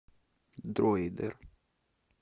дроидер